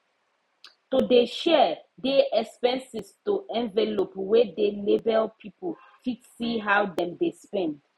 to dey share dey expenses to envelope wey dey label people fit see how dem dey spend